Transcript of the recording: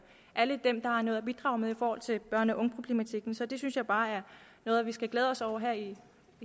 alle dem der har noget at bidrage med i forhold til børne og ungeproblematikken så det synes jeg bare er noget vi skal glæde os over her i